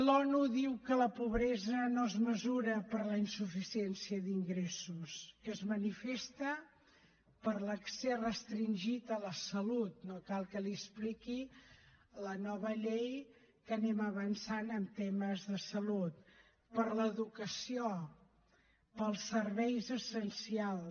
l’onu diu que la pobresa no es mesura per la insuficiència d’ingressos que es manifesta per l’accés restringit a la salut no cal que li expliqui la nova llei que anem avançant en temes de salut per l’educació pels serveis essencials